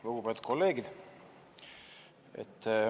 Lugupeetud kolleegid!